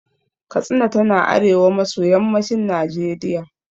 Katsina tana arewa maso yammacin Najeriya.